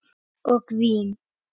Og vín.